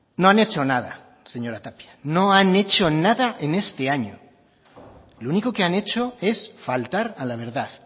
no han hecho nada señora tapia no han hecho nada en este año lo único que han hecho es faltar a la verdad